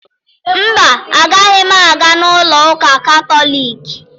Mba, agaghị m aga n'ụlọ ụka Katọliki.